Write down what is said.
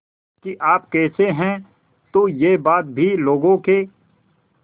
कि आप कैसे हैं तो यह बात भी लोगों के